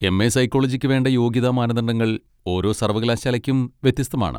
M. A സൈക്കോളജിക്ക് വേണ്ട യോഗ്യതാ മാനദണ്ഡങ്ങൾ ഓരോ സർവ്വകലാശാലയ്ക്കും വ്യത്യസ്തമാണ്.